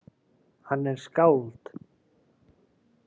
Hann er skáld.